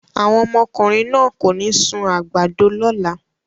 Àwọn ọmọkùnrin náà kò ní sun àgbàdo lọ́la!